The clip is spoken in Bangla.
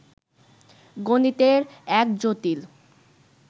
গণিতের এক জটিল